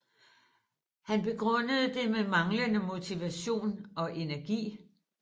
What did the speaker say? Han begrundede det med manglende motivation og energi